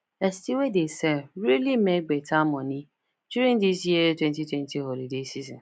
esty wey dey sell really make better money during this year wenty twenty holiday season